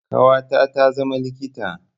Ƙawata ta zama likita.